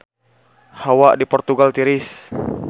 Hawa di Portugal tiris